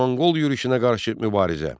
Monqol yürüşünə qarşı mübarizə.